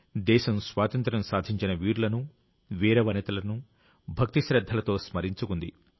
దేశం స్వాతంత్ర్యం సాధించిన వీరులను వీరవనితలను భక్తిశ్రద్ధలతో స్మరించుకుంది